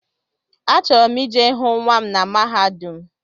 Achọrọ m I je hụ nnwa m na mahadum.